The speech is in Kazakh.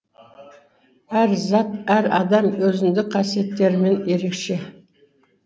әр зат әр адам өзіндік қасиеттерімен ерекше